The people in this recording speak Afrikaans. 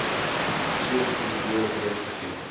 soos hierbo weergegee